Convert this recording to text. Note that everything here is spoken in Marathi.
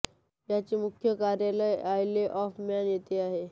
याचे मुख्य कार्यालय आयले ऑफ़ मॅन येथे आहे